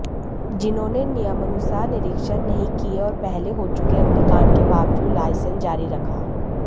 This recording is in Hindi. जिन्होंने नियमानुसार निरीक्षण नहीं किए और पहले हो चुके अग्निकांड के बावजूद लाइसेंस जारी रखा